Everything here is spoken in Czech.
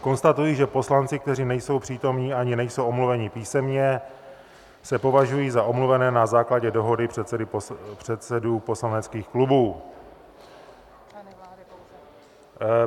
Konstatuji, že poslanci, kteří nejsou přítomni ani nejsou omluveni písemně, se považují za omluvené na základě dohody předsedů poslaneckých klubů.